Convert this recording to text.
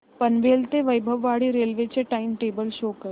पनवेल ते वैभववाडी रेल्वे चे time table show करा